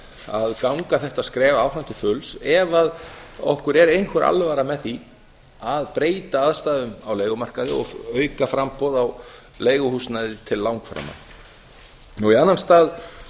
að ganga þetta skref áfram til fulls ef okkur er einhver alvara með því að breyta aðstæðum á leigumarkaði og auka framboð á leiguhúsnæði til langframa í annan stað